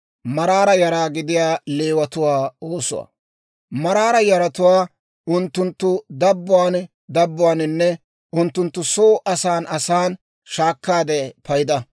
«Maraara yaratuwaa unttunttu dabbuwaan dabbuwaaninne unttunttu soo asan asan shaakkaade payda;